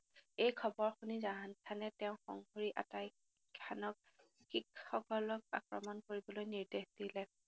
এই খৱৰ শুনি জাহানখানে তেওঁৰ সংগী আতাইখানক শিখসকলক আক্ৰমণ কৰিবলৈ নিৰ্দেশ দিলে